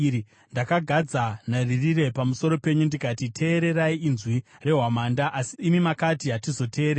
Ndakagadza nharirire pamusoro penyu ndikati, ‘Teererai inzwi rehwamanda!’ Asi imi makati, ‘Hatizoteereri.’